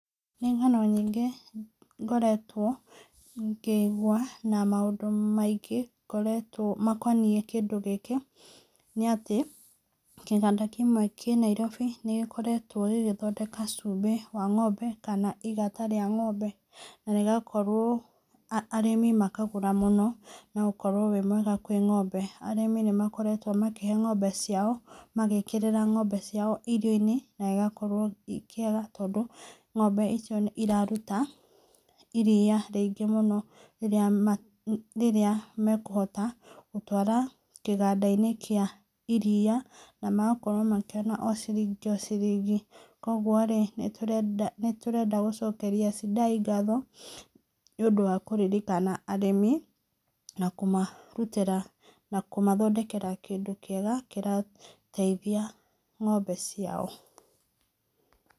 Nĩ ng'ano nyingĩ ngoretwo ngĩigua na maũndũ maingĩ makonie kĩndũ gĩkĩ nĩ atĩ kĩganda gĩkĩ kĩmwe kĩ Nairobi nĩ gĩkoretwo gĩgĩthondeka chumbĩ wa ng'ombe kana igata rĩa ng'ombe na gĩgakorwo, ũrĩmi makarĩma mũno, ũgakorwo wĩ mwega kwĩ ng'ombe, arĩmi nĩ makoretwo makĩhe ng'ombe ciao, magĩkorwo magĩkĩrĩra ng'ombe ciao irio-inĩ na gĩgakorwo gĩkĩiega tondũ ng'ombe icio iraruta iria rĩingĩ mũno rĩrĩa mekũhota gũtwara kĩganda-inĩ kĩa iria na magakorwo makĩona o ciringi o ciringi kwoguo nĩtũrenda gũcokeria Sidai ngatho nĩ ũndũ wa kũririkana arĩmi na kũmathondokera kĩndũ kĩega kĩrateithia ng'ombe ciao.